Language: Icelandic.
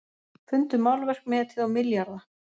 Fundu málverk metið á milljarða